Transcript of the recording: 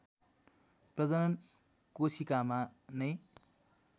प्रजनन कोशिकामा नै